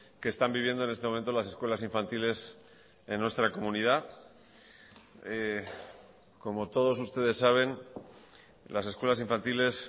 que están viviendo en este momento las escuelas infantiles en nuestra comunidad como todos ustedes saben las escuelas infantiles